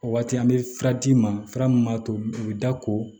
O waati an bɛ fura d'i ma fura mun b'a to u bɛ da ko